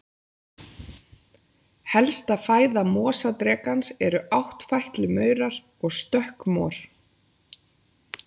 Helsta fæða mosadrekans eru áttfætlumaurar og stökkmor.